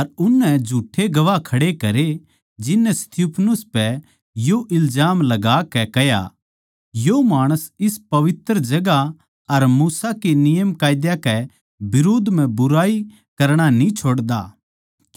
अर उननै झूठ्ठे गवाह खड़े करे जिननै स्तिफनुस पै यो इलजाम लगाकै कह्या यो माणस इस पवित्र जगहां अर मूसा के नियमकायदे कै बिरोध म्ह बुराई करणा न्ही छोड़दा